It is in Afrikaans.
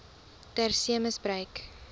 ter see misbruik